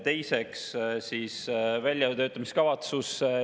Teiseks, väljatöötamiskavatsus.